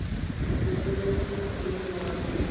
ḽi topoleni ni ḽi ṅwale